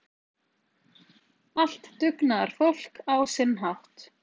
Allt dugnaðarfólk á sinn hátt.